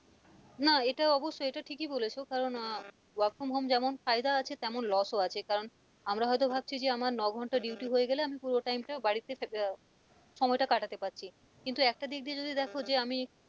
না এটা অবশ্যই এটা ঠিকই বলেছো কারণ আহ work from home যেমন ফায়দা আছে তেমন loss ও আছে কারণ আমরা হয়তো ভাবছি যে আমার নঘন্টা duty হয়ে গেলে আমি পুরো time টা বাড়িতে আহ সময়টা কাটাতে পারছি কিন্তু একটা দিক দিয়ে যদি দেখো যে আমি,